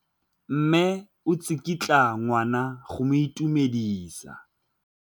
Mme o tsikitla ngwana go mo itumedisa.